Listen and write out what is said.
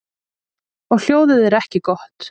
Og hljóðið er ekki gott.